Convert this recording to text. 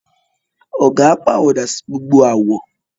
Ọ̀gà pàwọ̀dà sí gbogbo àwọ̀